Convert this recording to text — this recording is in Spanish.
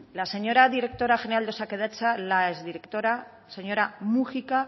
la señora directora general de osakidetza la exdirectora señora múgica